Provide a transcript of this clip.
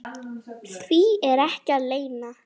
Því er ekki að leyna.